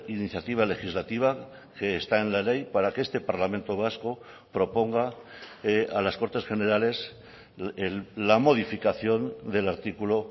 iniciativa legislativa que está en la ley para que este parlamento vasco proponga a las cortes generales la modificación del artículo